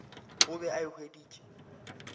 o be a e hweditše